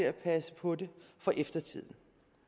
at passe på det for eftertiden